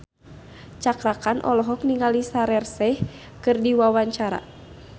Cakra Khan olohok ningali Shaheer Sheikh keur diwawancara